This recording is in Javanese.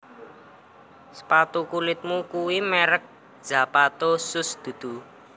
Sepatu kulitmu kui merk Zapato Shoes dudu?